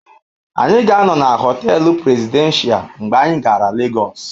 Anyị ga-anọ na họtel Presidential mgbe anyị gara Lagos.